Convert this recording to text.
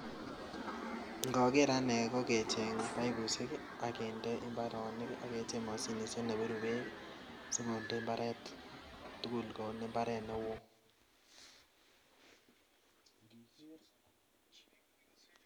Ngakeer ananee kokecheng paipusheek ak mashinisheeek akindee mbaronii chuu